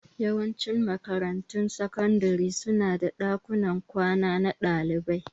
Yawancin makarantun sakandare su na da ɗakunan kwana na ɗalibai